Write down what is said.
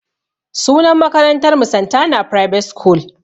Sunan makarantar mu "Santana private school"